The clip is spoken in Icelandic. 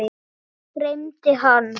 Mig dreymdi hann.